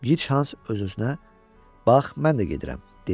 Gichans öz-özünə: “Bax, mən də gedirəm!” dedi.